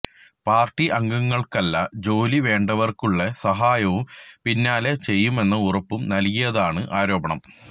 party അംഗങ്ങള്ക്കല്ല ജോലി വേണ്ടവര്ക്കുള്ള സഹായവും പിന്നാലെ ചെയ്യമെന്ന ഉറപ്പും നല്കിയതായാണ് ആരോപണം